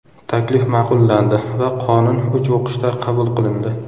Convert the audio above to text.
Taklif ma’qullandi va qonun uch o‘qishda qabul qilindi.